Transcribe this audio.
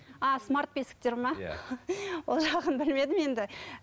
а смарт бесіктер ме иә ол жағын білмедім енді